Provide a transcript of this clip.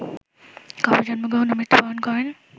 কবে জন্মগ্রহন ও মৃত্যুবরন করেন